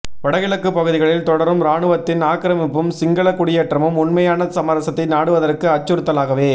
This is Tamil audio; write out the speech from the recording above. வட கிழக்கு பகுதிகளில் தொடரும் ராணுவத்தின் ஆக்கிரமிப்பும் சிங்கள குடியேற்றமும் உண்மையான சமரசத்தை நாடுவதற்கு அச்சுறுத்தலாகவே